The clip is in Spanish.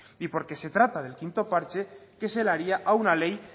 y porque se trata del quinto parche que se daría a una ley